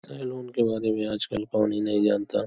Salon के बारे में आज कल कौन ही नही जानता।